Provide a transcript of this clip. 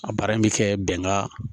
A baara in bɛ kɛ bɛnkan